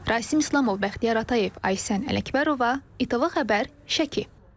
Rasim İslamov, Bəxtiyar Atayev, Aysən Ələkbərova, ATV Xəbər, Şəki.